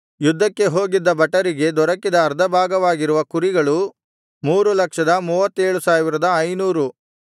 ಯುದ್ಧಕ್ಕೆ ಹೋಗಿದ್ದ ಭಟರಿಗೆ ದೊರಕಿದ ಅರ್ಧ ಭಾಗವಾಗಿರುವ ಕುರಿಗಳು 337500